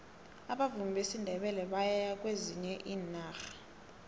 abavumi besindebele bayaya kwezinye iinarha